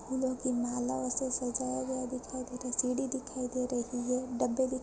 फूलों की माला से सजा हुआ दिखाई दे रही है सीढ़ी दिखाई दे रही है डब्बे दिख़ --